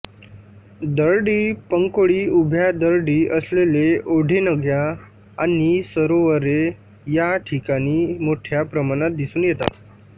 दरडी पंकोळी उभ्या दरडी असलेले ओढेनद्याआणि सरोवरे या ठिकाणी मोठ्या प्रमाणात दिसून येतात